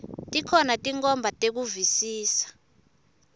tikhona tinkhomba tekuvisisa